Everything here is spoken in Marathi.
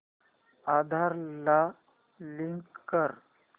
आधार ला लिंक कर